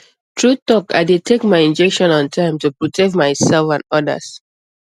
true talk i dey take my injection on time to protect myself and others